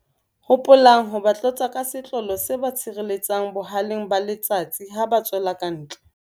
Hopolang ho ba tlotsa ka setlolo se ba sireletsang boha-leng ba letsatsi ha ba tswela kantle.